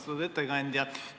Austatud ettekandja!